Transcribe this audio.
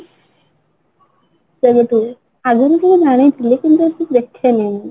ସେମିତି ଆଗରୁ ଟିକେ ଜାଣିଥିଲି କିନ୍ତୁ ଏତେ ଦେଖେନି